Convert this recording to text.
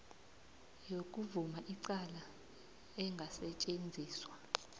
yokuvuma icala engasetjenziswa